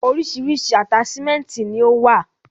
Orísirísi ataṣimẹnti ni o wa.